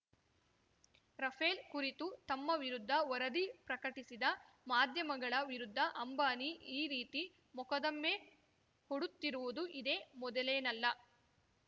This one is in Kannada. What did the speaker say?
ರಫೇಲ್‌ ಕುರಿತು ತಮ್ಮ ವಿರುದ್ಧ ವರದಿ ಪ್ರಕಟಿಸಿದ ಮಾಧ್ಯಮಗಳ ವಿರುದ್ಧ ಅಂಬಾನಿ ಈ ರೀತಿ ಮೊಕದ್ದಮೆ ಹೂಡುತ್ತಿರುವುದು ಇದೇ ಮೊದಲೇನಲ್ಲ